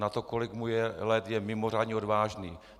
Na to, kolik mu je let, je mimořádně odvážný.